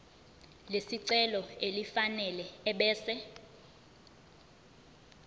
lesicelo elifanele ebese